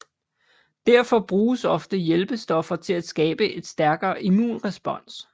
Derfor bruges ofte hjælpestoffer til at skabe et stærkere immunrespons